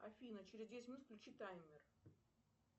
афина через десять минут включи таймер